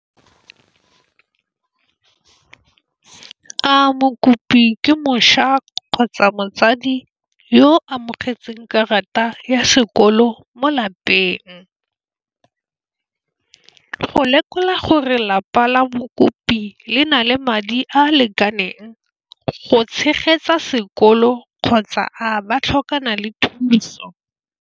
A mokopi ke kgotsa motsadi yo amogetseng karata ya sekolo mo lapeng, go lekola gore lapa la mokopi le na le madi a lekaneng go tshegetsa sekolo, kgotsa a ba tlhokana le thuso?